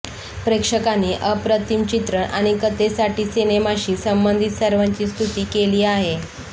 प्रेक्षकांनी अप्रतिम चित्रण आणि कथेसाठी सिनेमाशी संबंधित सर्वांची स्तुती केली आहे